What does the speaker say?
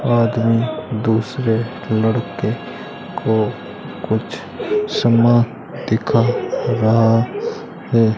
आदमी दूसरे लड़के को कुछ सामान दिखा रहा है।